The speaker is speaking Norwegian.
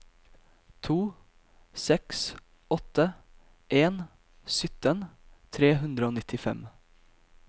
to seks åtte en sytten tre hundre og nittifem